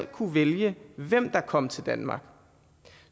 kunne vælge hvem der kom til danmark